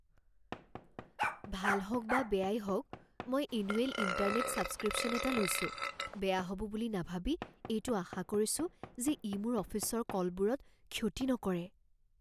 ভাল হওক বা বেয়াই হওক, মই এনুৱেল ইণ্টাৰনেট ছাবস্ক্ৰিপশ্যন এটা লৈছো, বেয়া হ'ব বুলি নাভাবি এইটো আশা কৰিছো যে ই মোৰ অফিচৰ কলবোৰত ক্ষতি নকৰে।